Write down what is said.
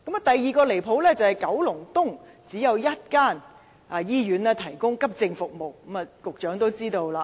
第二個離譜之處，便是九龍東只有一間醫院提供急症服務。